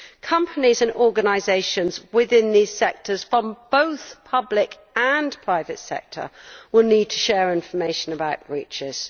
Companies and organisations within these sectors from both the public and private sectors will need to share information about breaches.